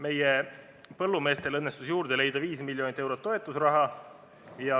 Meie põllumeestele õnnestus juurde leida 5 miljonit eurot toetusraha.